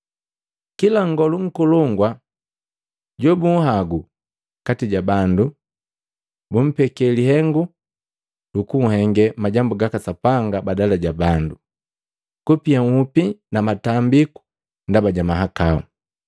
Kila nngolu nkolongu jobunhagu kati ja bandu, bumpeke lihengu lukuhenge majambu gaka Sapanga badala ja bandu, kupia nhupi na matambiku ndaba ja mahakau.